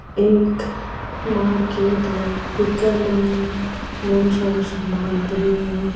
एक मार्केट है बीके मायने बहुत सारो सामान पड़ियो है।